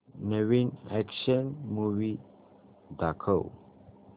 नवीन action movie दाखव